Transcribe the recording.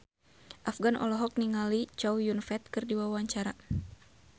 Afgan olohok ningali Chow Yun Fat keur diwawancara